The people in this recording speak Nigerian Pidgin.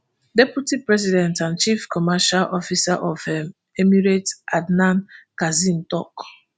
deputy president and chief commercial officer of um emirates adnan kazim tok